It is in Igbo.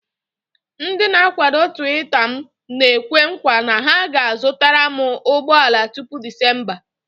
Ndị na-akwado Tuweeta m na-ekwe nkwa na ha ga-azụtara m ụgbọ ala tupu Discemba